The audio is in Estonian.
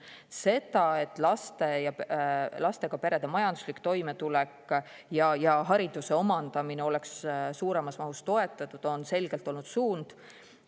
See, et lastega perede majanduslik toimetulek ja hariduse omandamine oleks suuremas mahus toetatud, on selgelt olnud suund.